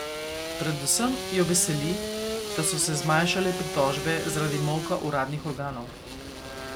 Predvsem jo veseli, da so se zmanjšale pritožbe zaradi molka uradnih organov.